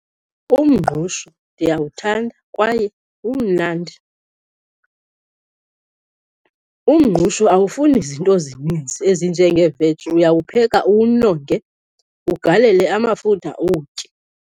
Umngqusho ndiyawuthanda kwaye umnandi. Umngqusho awufuni zinto zininzi ezinjengeeveji. Uyawupheka uwunonge, ugalele amafutha uwutye.